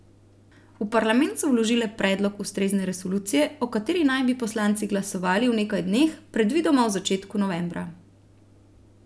V parlament so vložile predlog ustrezne resolucije, o kateri naj bi poslanci glasovali v nekaj dneh, predvidoma v začetku novembra.